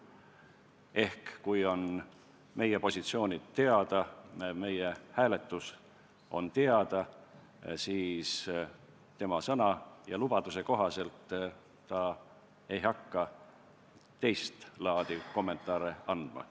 Ehk kui meie positsioonid on teada, meie otsus on teada, siis ta oma sõna ja lubaduse kohaselt ei hakka teistlaadi kommentaare andma.